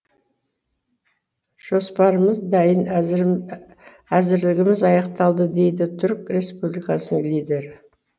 жоспарымыз дайын әзірлігіміз аяқталды дейді түрік республикасының лидері